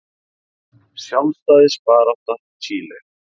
Sjálfstæðisbarátta Chile.